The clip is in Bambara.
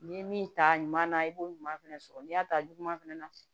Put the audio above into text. N'i ye min ta ɲuman na i b'o ɲuman fɛnɛ sɔrɔ n'i y'a ta juguman fɛnɛ na